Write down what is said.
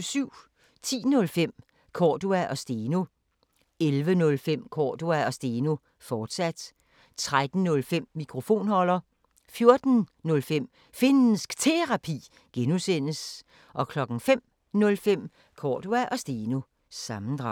10:05: Cordua & Steno 11:05: Cordua & Steno, fortsat 13:05: Mikrofonholder 14:05: Finnsk Terapi (G) 05:05: Cordua & Steno – sammendrag